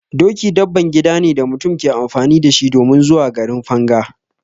Doki dabban gida ne da mutum ke amfani da shi domin zuwa garin Fanga.